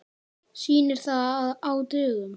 Sýnir það að á dögum